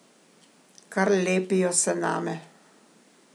Kar lepijo se name.